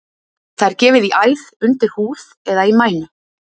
Það er gefið í æð, undir húð eða í mænu.